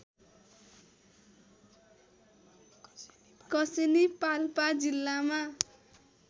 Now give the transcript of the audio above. कसेनी पाल्पा जिल्लामा